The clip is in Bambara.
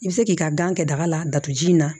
I bɛ se k'i ka gan kɛ daga la datugu ji in na